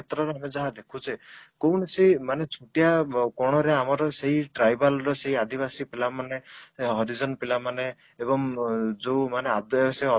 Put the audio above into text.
କ୍ଷେତ୍ର ରେ ଯାହା ଦେଖୁଛେ କୌଣସି ମାନେ ଛୋଟିଆ କଣ ରେ ଆମର ସେଇ tribal ର ସେଇ ଆଦିବାସି ପିଲାମାନେ ହରିଜନ ପିଲାମାନେ ଏବଂ ଯୋଉ ମାନେ ଆଦୀବାସିତ